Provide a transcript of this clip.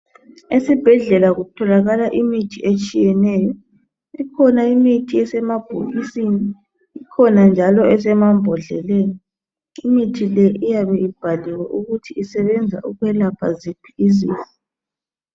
Esibhedlela kutholakala imithi etshiyeneyo. Kukhona imithi esemabhokisini kukhona njalo esemambodleleni. Imithi le iyabe ibhaliwe ukuthi isebenza ukwelapha ziphi izifo.